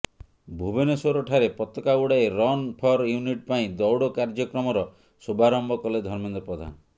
ଭୁବନେଶ୍ୱର ଠାରେ ପତକା ଉଡାଇ ରନ୍ ଫର୍ ୟୁନିଟି ପାଇଁ ଦୌଡ କାର୍ଯ୍ୟକ୍ରମର ଶୁଭାରମ୍ଭ କଲେ ଧର୍ମେନ୍ଦ୍ର ପ୍ରଧାନ